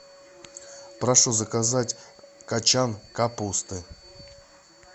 прошу заказать качан капусты